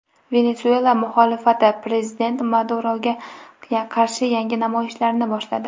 Venesuela muxolifati prezident Maduroga qarshi yangi namoyishlarni boshladi.